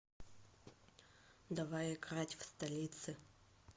давай играть в столицы